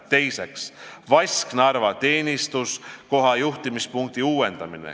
Teiseks, Vasknarva teenistuskoha juhtimispunkti uuendamine.